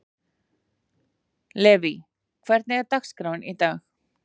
Levý, hvernig er dagskráin í dag?